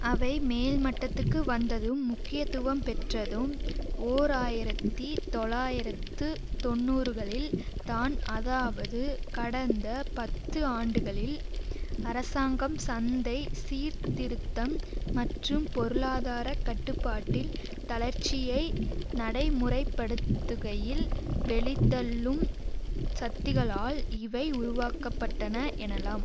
அவை மேல் மட்டத்துக்கு வந்ததும் முக்கியத்துவம் பெற்றதும் ஓர் ஆயிரத்தி தொள்ளாயிரத்து தொன்னூறுகளில் தான் அதாவது கடந்த பத்து ஆண்டுகளில் அரசாங்கம் சந்தை சீர்திருத்தம் மற்றும் பொருளாதார கட்டுப்பாட்டில் தளர்ச்சியை நடை முறைப்படுத்துகையில் வெளித்தள்ளும் சக்திகளால் இவை உருவாக்க பட்டன எனலாம்